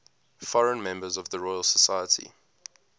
foreign members of the royal society